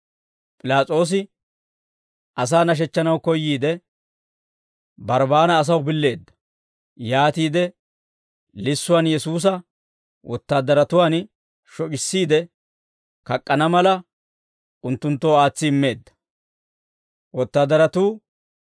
P'ilaas'oosi asaa nashechchanaw koyyiide, Barbbaana asaw billeedda; yaatiide lissuwaan Yesuusa wotaadaratuwaan shoc'issiide, kak'k'ana mala unttunttoo aatsi immeedda.